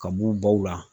Ka b'u baw la